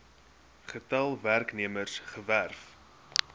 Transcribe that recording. getal werknemers gewerf